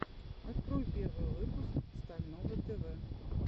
открой первый выпуск стального тв